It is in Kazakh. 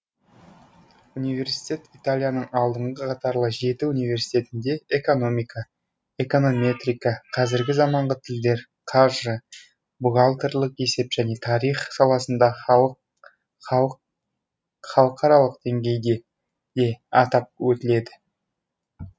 университет италияның алдыңғы қатарлы жеті университетінде экономика эконометрика қазіргі заманғы тілдер қаржы бухгалтерлік есеп және тарих саласында халық халық халықаралық деңгейде де атап өтіледі